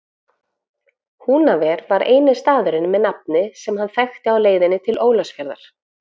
Húnaver var eini staðurinn með nafni sem hann þekkti á leiðinni til Ólafsfjarðar.